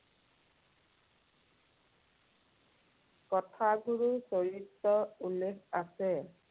কথাগুৰু চৰিতত উল্লেখ আছে,